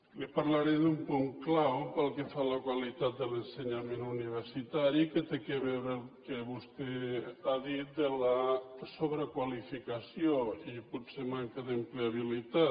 li parlaré d’un punt clau pel que fa a la qualitat de l’ensenyament universitari que té a veure amb el que vostè ha dit de la sobrequalificació i potser manca d’ empleabilitat